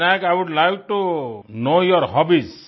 Vinayak I would like to know your hobbies